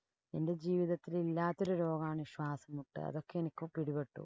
എന്‍റെ ജീവിതത്തില്‍ ഇല്ലാത്ത ഒരു രോഗാണ് ശ്വാസംമുട്ട്. അതൊക്കെ എനിക്ക് പിടിപ്പെട്ടു.